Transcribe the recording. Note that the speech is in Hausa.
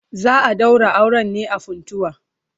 Za a daura auren ne a Funtua.